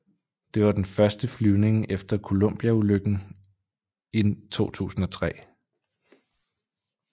Det var den første flyvning efter Columbia ulykken i 2003